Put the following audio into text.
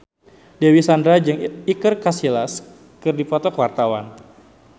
Dewi Sandra jeung Iker Casillas keur dipoto ku wartawan